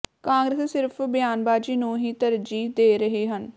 ਕਾਂਗਰਸੀ ਸਿਰਫ਼ ਬਿਆਨਬਾਜੀ ਨੂੰ ਹੀ ਤਰਜੀਹ ਦੇ ਰਹੇ ਹਨ